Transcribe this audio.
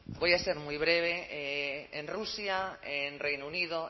voy a ser muy breve en rusia en reino unido